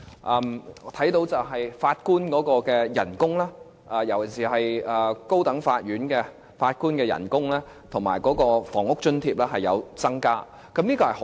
我們看到法官的薪金，特別是高等法院法官的薪金，以及房屋津貼是有增加的，這方面是好的。